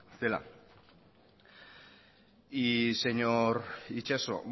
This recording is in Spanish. zela y señor itxaso